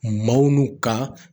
Maaw n'u ka